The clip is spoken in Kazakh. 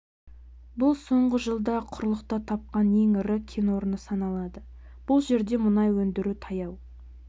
бұл соңғы жылда құрлықта тапқан ең ірі кен орны саналады бұл жерде мұнай өндіру таяу